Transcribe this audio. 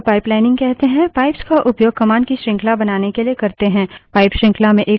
pipe श्रृंखला में एक command के output को दूसरी command के input से जोड़ता है